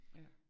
Ja